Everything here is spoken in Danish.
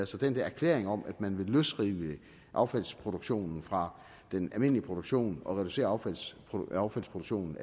så den der erklæring om at man vil løsrive affaldsproduktionen fra den almindelige produktion og reducere affaldsproduktionen